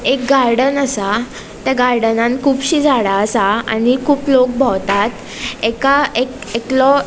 एक गार्डन आसा त्या गार्डनान कूबशी झाड़ा आसा आणि कुब लोक भोवतात एका एक एक एकलों --